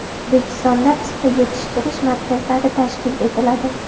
O‘zbekistonda pista yetishtirish markazlari tashkil etiladi.